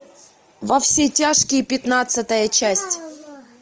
во все тяжкие пятнадцатая часть